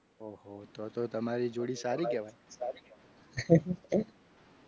તો તો તમારી જોડી સારી કહેવાય.